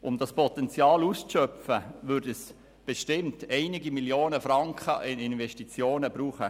Um dieses Potenzial auszuschöpfen, würden bestimmt einige Millionen Franken an Investitionen benötigt.